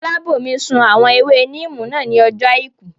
Fọlábòmí sun àwọn ewé níìmù náà ní ọjọ́ àìkú